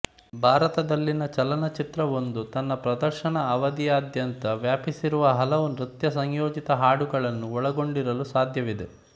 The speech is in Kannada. ಭಾರತದಲ್ಲಿನ ಚಲನಚಿತ್ರವೊಂದು ತನ್ನ ಪ್ರದರ್ಶನ ಅವಧಿಯಾದ್ಯಂತ ವ್ಯಾಪಿಸಿರುವ ಹಲವು ನೃತ್ಯಸಂಯೋಜಿತ ಹಾಡುಗಳನ್ನು ಒಳಗೊಂಡಿರಲು ಸಾಧ್ಯವಿದೆ